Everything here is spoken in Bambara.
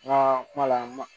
Nka kuma la